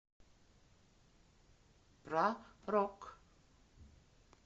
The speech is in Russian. про рок